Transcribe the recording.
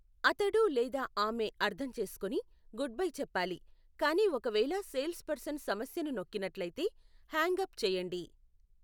అతడు లేదా ఆమె అర్థం చేసుకొని, గుడ్బై చెప్పాలి, కానీ ఒకవేళ సేల్స్ పర్సన్ సమస్యను నొక్కినట్లయితే, హ్యాంగ్ అప్ చేయండి.